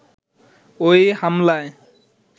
ওই হামলায়